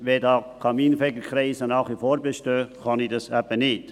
Wenn die Kaminfegerkreise weiterhin bestehen, kann ich dies eben nicht.